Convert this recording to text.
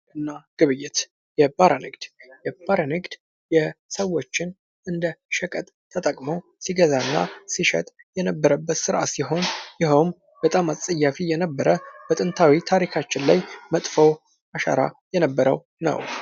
ንግድና ግብይት ፡-የባሪያ ንግድ የባሪያ ንግድ ሰዎች እንደ ሸቀጥ ተጠቅሞ ሲገዛና ሲሸጥ የነበረበት ስርዓት ሲሆን ይኸውም በጣም አፀያፊ የነበረ በጥንታዊ ታሪካችን ላይ መጥፎ አሻራ የነበረው ነው።